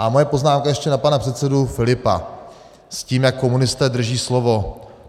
A moje poznámka ještě na pana předsedu Filipa s tím, jak komunisté drží slovo.